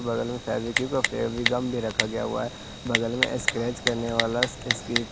बगल में फैविक्यूक का फेवीगम भी रखा गया हुआ है बगल में स्क्रैच करने वाला इसकी--